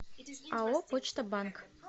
ао почта банк